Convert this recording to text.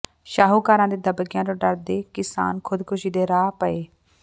ਸ਼ਾਹੂਕਾਰਾਂ ਦੇ ਦਬਕਿਆਂ ਤੋਂ ਡਰਦੇ ਕਿਸਾਨ ਖੁਦਕੁਸ਼ੀ ਦੇ ਰਾਹ ਪਏ